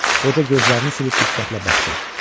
Qoca gözlərini silib diqqətlə baxdı.